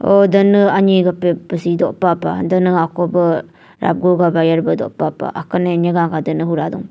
huhh dvnv anyi pvsi dopah pah dvnv akoh bvh aguh gvh bayar bvh dopah pah akunv nyvga gvh dopah pah.